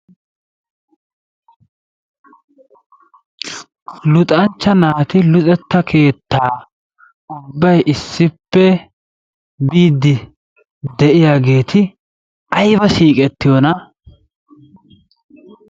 Luxanchcha naati luxetta keetta ubbay issippe biide de'iyaageeti aybba siiqettiyoona.